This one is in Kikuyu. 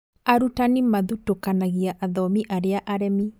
Arutani mathutũkanagia athomi arĩa aremi